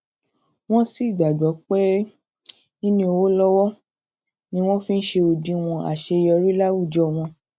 wón sì gbàgbọ um pé níní owó lọwọ um ni wón fi ń ṣe òdiwọn àṣeyọrí láwùjọ wọn